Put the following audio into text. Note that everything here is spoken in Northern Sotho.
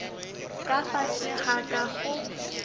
ka fase ga ka go